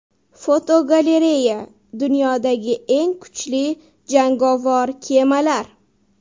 Fotogalereya: Dunyodagi eng kuchli jangovar kemalar.